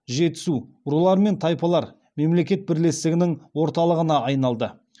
жетісу рулар мен тайпалар мемлекет бірлестігінің орталыпына айналды